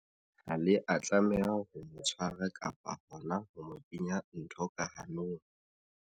Ha le a tlameha ho mo tshwara kapa hona ho mo kenya ntho ka hanong.